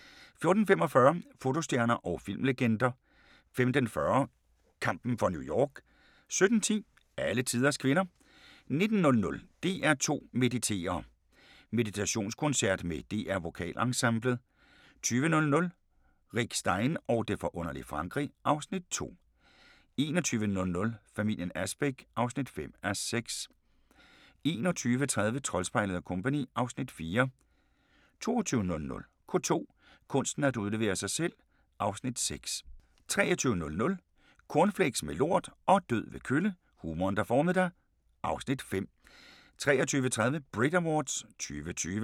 14:45: Fotostjerner og filmlegender 15:40: Kampen for New York 17:10: Alletiders kvinder 19:00: DR2 Mediterer! Meditationskoncert med DR VokalEnsemblet 20:00: Rick Stein og det forunderlige Frankrig (Afs. 2) 21:00: Familien Asbæk (5:6) 21:30: Troldspejlet & Co. (Afs. 4) 22:00: K2: Kunsten at udlevere sig selv (Afs. 6) 23:00: Cornflakes med lort og død ved kølle – humoren, der formede dig (Afs. 5) 23:30: Brit Awards 2020